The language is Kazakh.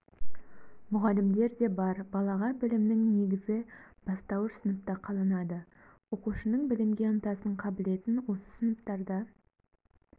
мұғалімдер де бар балаға білімнің негізі бастауыш сыныпта қаланады оқушының білімге ынтасын қабілетін осы сыныптарда